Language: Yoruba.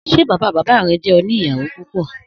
Sé bàbá bàbá re jẹ́ oní ìyàwó púpọ̀?